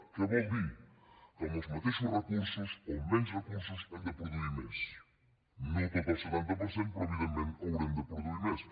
què vol dir que amb els mateixos recursos o amb menys recursos hem de produir més no tot el setanta per cent però evidentment haurem de produir més